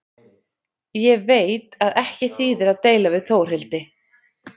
Ég veit að ekki þýðir að deila við Þórhildi.